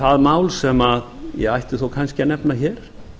það mál sem ég ætti þó kannski að nefna hér